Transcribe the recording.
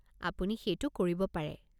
আপুনি সেইটো কৰিব পাৰে।